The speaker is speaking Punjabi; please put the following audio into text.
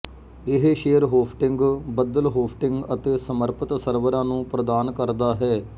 ਇਹ ਸ਼ੇਅਰ ਹੋਸਟਿੰਗ ਬੱਦਲ ਹੋਸਟਿੰਗ ਅਤੇ ਸਮਰਪਿਤ ਸਰਵਰਾਂ ਨੂੰ ਪ੍ਰਦਾਨ ਕਰਦਾ ਹੈ